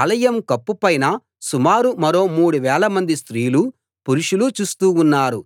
ఆలయం కప్పు పైన సుమారు మరో మూడు వేలమంది స్త్రీలూ పురుషులూ చూస్తూ ఉన్నారు